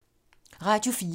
Radio 4